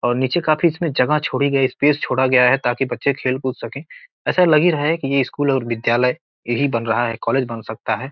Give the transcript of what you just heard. और नीचे काफी इसमें जगह छोड़ी गई स्पेस छोड़ा गया है ताकि बच्चे खेल कूद सकें ऐसा लग ही रहा है की ये स्कूल और विद्यालय ए ही बन रहा है कॉलेज बन सकता है।